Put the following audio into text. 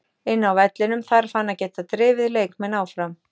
Inni á vellinum þarf hann að geta drifið leikmenn áfram.